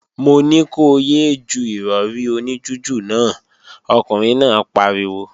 Mo ní ko yé é ju Ìrọ̀rí oní jújù náà, ọkùnrin náà pariwo!